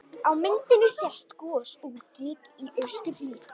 Á myndinni sést gos úr gíg í austurhlíð